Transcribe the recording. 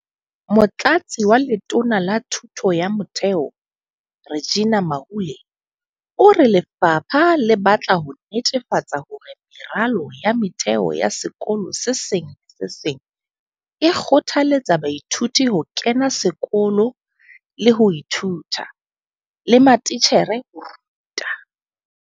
Motlatsi wa Letona la Thuto ya Motheo, Reginah Mhaule, o re lefapha le batla ho netefatsa hore meralo ya motheo ya sekolo se seng le se seng e kgothaletsa baithuti ho kena sekolo le ho ithuta, le matitjhere ho ruta.